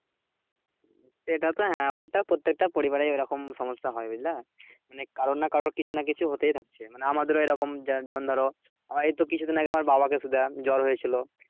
এটা তো হ্যাঁ ওইটা প্রত্যেকটা পরিবারেই ওরকম সমস্যা হয়ে বুঝলে? মানে কারুর না কারুর কিছু না কিছু হতেই থাকছে মানে আমাদের ও এরকম যেমন ধরো আমার এই তো কিছু দিন আগে আমার বাবা কে জ্বর হয়েছিল